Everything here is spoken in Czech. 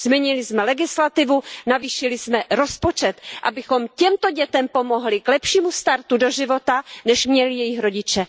Změnili jsme legislativu, navýšili jsme rozpočet, abychom těmto dětem pomohli k lepšímu startu do života, než měli jejich rodiče.